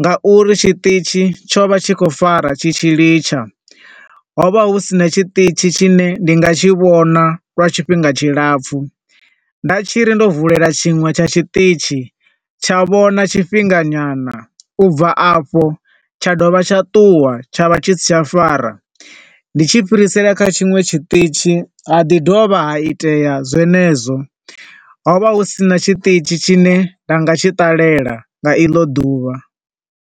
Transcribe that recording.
nga uri tshiṱitzhi tsho vha tshi khou fara tshi tshi litsha. Ho vha hu sina tshiṱitzhi tshi ne nda nga tshi vhona for tshifhinga tshilapfu, nda tshiri ndo vulela tshiṅwe tsha tshiṱitzhi tsha vhona tshifhinga nyana, ubva afho tsha dovha tsha ṱuwa, tsha vha tshi si tsha fara. Ndi tshi fhirisela kha tshinwe tshiṱitzhi ha ḓi dovha ha itea zwenezwo, ho vha husina tshiṱitzhi tshi ne nda nga tshi ṱalela nga iḽo ḓuvha.